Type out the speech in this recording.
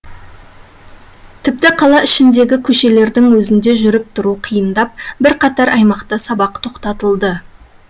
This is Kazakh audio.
тіпті қала ішіндегі көшелердің өзінде жүріп тұру қиындап бірқатар аймақта сабақ тоқтатылды